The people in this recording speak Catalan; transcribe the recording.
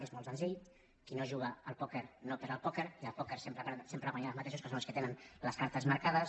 és molt senzill qui no juga al pòquer no perd al pòquer i al pòquer sempre guanyen els mateixos que són els que tenen les cartes marcades